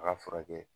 A ka furakɛ